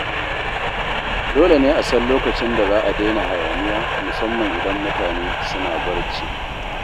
Dole ne a san lokacin da za a daina hayaniya, musamman idan mutane suna barci.